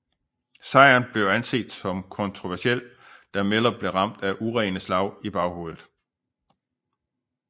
Sejren var anset som kontroversiel da Miller blev ramt af urene slag i baghovedet